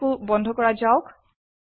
এইটোকোও বন্ধ কৰা যাওক